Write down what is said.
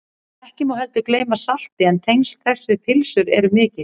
ekki má heldur gleyma salti en tengsl þess við pylsur eru mikil